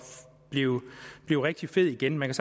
blive rigtig fed igen man